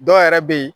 Dɔw yɛrɛ bɛ yen